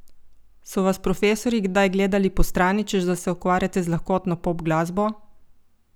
So vas profesorji kdaj gledali po strani, češ da se ukvarjate z lahkotno pop glasbo?